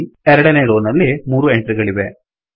ಎರಡನೇ ರೋ ನಲ್ಲಿ ಮೂರು ಎಂಟ್ರಿ ಗಳಿವೆ